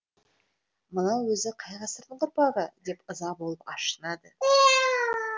мынау өзі қай ғасырдың ұрпағы деп ыза болып ашынады